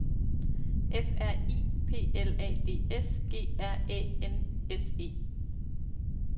F R I P L A D S G R Æ N S E